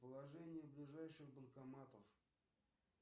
положение ближайших банкоматов